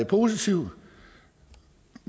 positiv